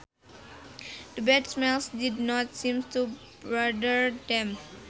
The bad smells did not seem to bother them